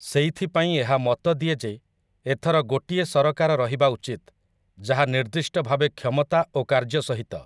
ସେଇଥିପାଇଁ ଏହା ମତ ଦିଏ ଯେ ଏଥର ଗୋଟିଏ ସରକାର ରହିବା ଉଚିତ୍ ଯାହା ନିର୍ଦ୍ଦିଷ୍ଟ ଭାବେ କ୍ଷମତା ଓ କାର୍ଯ୍ୟ ସହିତ ।